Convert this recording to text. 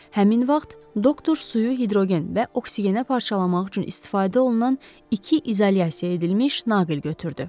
Həmin vaxt doktor suyu hidrogen və oksigenə parçalamaq üçün istifadə olunan iki izolyasiya edilmiş naqil götürdü.